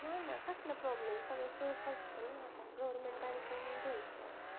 नाही नाही कसला problem सगळं safe असत ना आता government bank कडून घ्याच